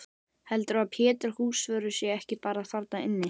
Heldurðu að Pétur húsvörður sé ekki bara þarna inni?